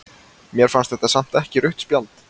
Mér fannst þetta samt ekki rautt spjald.